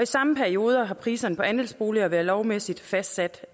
samme periode har priserne på andelsboliger været lovmæssigt fastsat